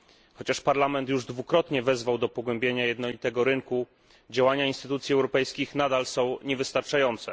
Chociaż Parlament już dwukrotnie wezwał do pogłębienia jednolitego rynku, działania instytucji europejskich nadal są niewystarczające.